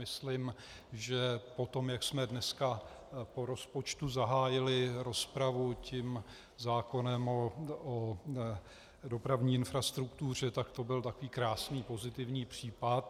Myslím, že po tom, jak jsme dneska po rozpočtu zahájili rozpravu tím zákonem o dopravní infrastruktuře, tak to byl takový krásný pozitivní případ.